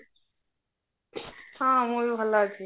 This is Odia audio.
ହଁ ମୁଁ ବି ଭଲ ଅଛି